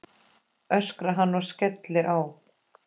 öskrar hann og skellir á.